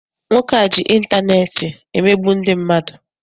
Nwoke a ji intaneeti emegbu ndị mmadụ.